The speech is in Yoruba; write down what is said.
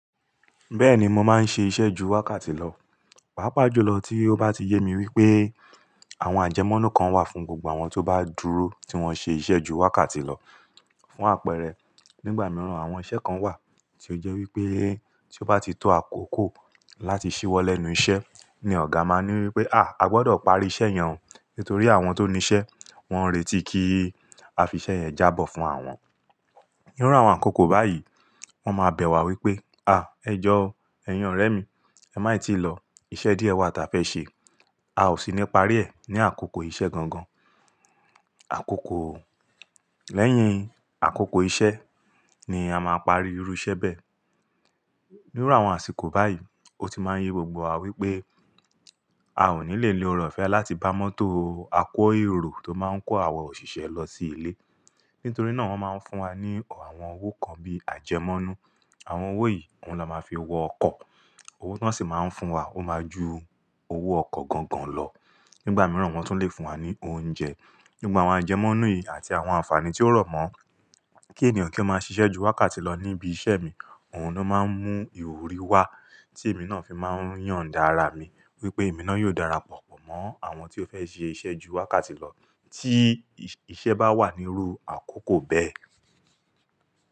Bẹ́ẹ̀ni, mo máa ń ṣe iṣẹ́ ju wákàtí lọ, pàápàá jùlọ tí ó bá ti yé mi wípé àwọn ajẹmọ́nú kan wà fún gbogbo àwọn ti o bá dúró tí wọ́n ṣe iṣẹ́ ju wákàtí lọ. Fún àpẹẹrẹ, nígbà mìíràn àwọn iṣẹ́ kan wà tí ó jẹ́ wípé tí ó bá ti tó àkókò láti ṣíwọ́ lẹ́nu iṣẹ́ ni ọ̀gá máa ní wípé, "à, a gbọdọ̀ parí iṣẹ́ yẹn o, nítorí àwọn tó ní iṣẹ́ wọ́n ń retí kí a fi iṣẹ́ yẹn jábọ̀ fún àwọn." Ní iru àwọn àkókò báyìí, wọ́n máa bẹ̀ wá wípé, "à ẹ jọ́ o, ẹyin orẹ mi, ẹ má i tíì lọ, iṣẹ́ díẹ̀ wà tí a fẹ́ ṣe, a ó sì ní paari rẹ̀ ní àkókò iṣẹ́ gangan." Àkókò lẹ́yìn àkókò iṣẹ́ ni a máa parí irú iṣẹ́ bẹ́ẹ̀. Ní iru àwọn àsìkò báyìí, ó ti máa ń yé gbogbo wa wípé a ò ní lè ni oore ofẹ́ láti bá mọ́tò ako erò ti o máa ń kó àwa òṣìṣẹ́ lọ sí ilé, nítorí náà wọ́n máa ń fún wa ní awọ́n owó kan bíi ajẹmọ́nú. Àwọn owó yìí, òun la máa fi wọ ọkọ̀, owó ti won sì máa ń fún wa ó máa ju owó ọkọ̀ gangan lọ. Nígbà mìíràn wọ́n tún lè fún wa ní oúnjẹ. Gbogbo àwọn ajẹmọ́nú yìí àti àwọn àǹfààní tí ó rọ̀ mọ́ kí ènìyàn kí ó máa ṣiṣẹ́ ju wákàtí lọ ní ibi iṣẹ́ mi, òun ló máa ń mú ìwúrí wá tí èmi náà fi máa ń yondá ara mi wípé èmi náà yóò dára pọ̀ pọ̀ mọ́ àwọn tí ó fẹ́ ṣe iṣẹ́ ju wákàtí lọ tí iṣẹ́ bá wà ní iru àkókò bẹ́ẹ̀.